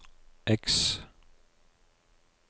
X